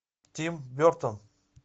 тим бертон